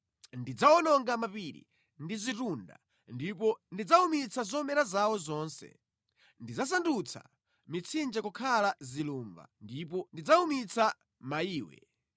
Ndidzawononga mapiri ndi zitunda ndipo ndidzawumitsa zomera zawo zonse; ndidzasandutsa mitsinje kukhala zilumba ndipo ndidzawumitsa maiwe.